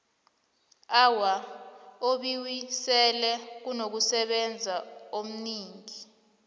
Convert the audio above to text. awa ubiwisela kunomsebenzi omningi